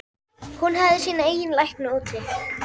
Hún hefði sína eigin lækna úti.